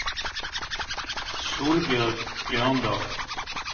Solbjørg Bjørndal